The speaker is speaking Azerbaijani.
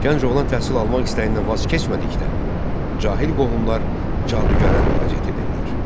Gənc oğlan təhsil almaq istəyindən vaz keçmədikdə, cahil qohumlar cadügara müraciət edirlər.